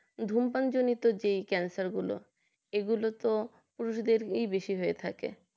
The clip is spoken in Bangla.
ধূমপানজনিত যে ক্যান্সার গুলো এইগুলো তো পুরুষদের বেশি হয়ে থাকে